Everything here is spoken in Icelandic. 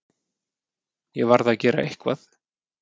Ég varð að gera eitthvað.